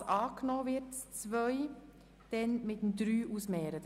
Falls Ziffer 2 angenommen wird, stellen wir sie der Ziffer 3 gegenüber.